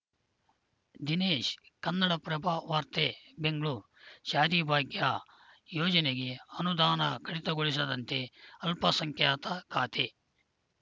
ದಿನೇಶ್‌ ಕನ್ನಡಪ್ರಭ ವಾರ್ತೆ ಬೆಂಗಳೂರು ಶಾದಿ ಭಾಗ್ಯ ಯೋಜನೆಗೆ ಅನುದಾನ ಕಡಿತಗೊಳಿಸದಂತೆ ಅಲ್ಪಸಂಖ್ಯಾತ ಖಾತೆ